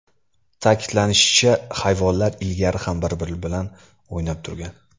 Ta’kidlanishicha, hayvonlar ilgari ham bir-biri bilan o‘ynab turgan.